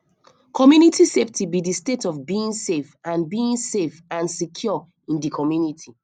community safety be di state of being safe and being safe and secure in di community